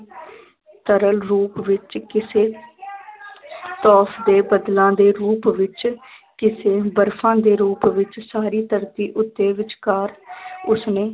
ਸਰਲ ਰੂਪ ਵਿੱਚ ਕਿਸੇ ਬੱਦਲਾਂ ਦੇ ਰੂਪ ਵਿੱਚ ਕਿਸੇ ਬਰਫ਼ਾਂ ਦੇ ਰੂਪ ਵਿੱਚ ਸਾਰੀ ਧਰਤੀ ਉੱਤੇ ਵਿਚਕਾਰ ਉਸਨੇ